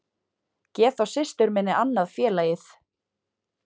Gef þá systur minni annað félagið